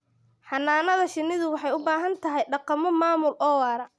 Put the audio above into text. Xannaanada shinnidu waxay u baahan tahay dhaqammo maamul oo waara.